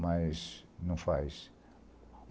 Mas não faz.